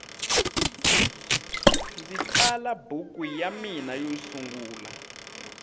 ndzi tsala buku ya mina yo sungula